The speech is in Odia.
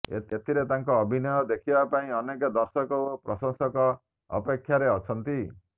ଏଥିରେ ତାଙ୍କ ଅଭିନୟ ଦେଖିବା ପାଇଁ ଅନେକ ଦର୍ଶକ ଓ ପ୍ରସଂଶକ ଅପେକ୍ଷାରେ ଅଛନ୍ତି